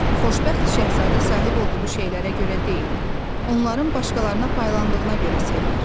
Xoşbəxt Şahzadə sahib olduğu şeylərə görə deyil, onların başqalarına paylandığına görə sevinir.